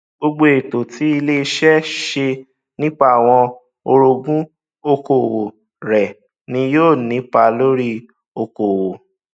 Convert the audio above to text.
gbogbo ètò tí ilé iṣẹ ṣe nípa àwọn orogún okòwò rẹ ni yóò nípa lórí okòwò